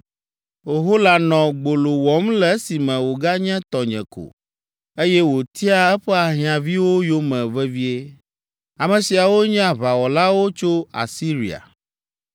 “Ohola nɔ gbolo wɔm le esime wòganye tɔnye ko, eye wòtiaa eƒe ahiãviwo yome vevie. Ame siawo nye aʋawɔlawo tso Asiria,